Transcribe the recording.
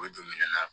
O don minɛn na